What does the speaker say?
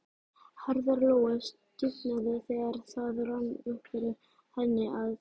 Herðar Lóu stífnuðu þegar það rann upp fyrir henni að